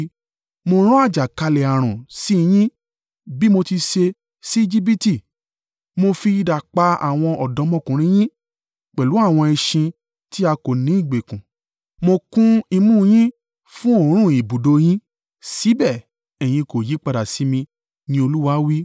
“Mo rán àjàkálẹ̀-ààrùn sí i yín bí mo ti ṣe sí Ejibiti. Mo fi idà pa àwọn ọ̀dọ́mọkùnrin yín. Pẹ̀lú àwọn ẹṣin tí a kó ní ìgbèkùn. Mo kún imú yín fún òórùn ibùdó yín, síbẹ̀ ẹ̀yin kò yípadà sí mi,” ni Olúwa wí.